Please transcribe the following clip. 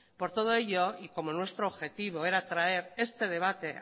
por todo ello y como nuestro objetivo era traer este debate